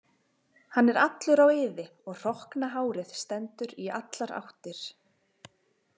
Hann er allur á iði og hrokkna hárið stendur í allar áttir.